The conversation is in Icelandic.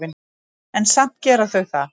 En samt gera þau það.